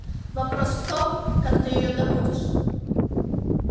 вопрос в том как ты её добудешь